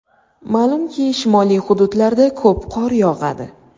Ma’lumki shimoliy hududlarda ko‘p qor yog‘adi.